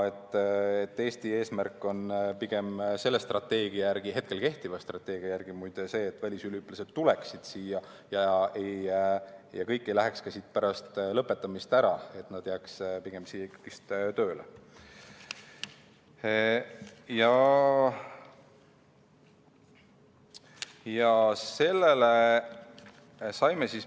Eesti eesmärk on selle strateegia järgi – kehtiva strateegia järgi, muide – pigem see, et välisüliõpilased tuleksid siia ja kõik ei läheks ka siit pärast lõpetamist ära, st nad jääks pigem siia ikkagi tööle.